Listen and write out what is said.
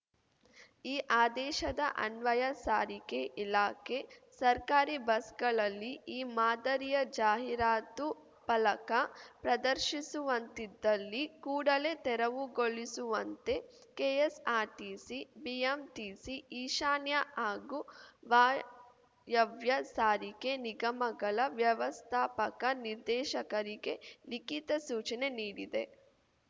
ಈ ಆದೇಶದ ಅನ್ವಯ ಸಾರಿಗೆ ಇಲಾಖೆ ಸರ್ಕಾರಿ ಬಸ್‌ಗಳಲ್ಲಿ ಈ ಮಾದರಿಯ ಜಾಹೀರಾತು ಫಲಕ ಪ್ರದರ್ಶಿಸುವಂತ್ತಿದ್ದಲ್ಲಿ ಕೂಡಲೇ ತೆರವುಗೊಳಿಸುವಂತೆ ಕೆಎಸ್‌ಆರ್‌ಟಿಸಿ ಬಿಎಂಟಿಸಿ ಈಶಾನ್ಯ ಹಾಗೂ ವಾಯವ್ಯ ಸಾರಿಗೆ ನಿಗಮಗಳ ವ್ಯವಸ್ಥಾಪಕ ನಿರ್ದೇಶಕರಿಗೆ ಲಿಖಿತ ಸೂಚನೆ ನೀಡಿದೆ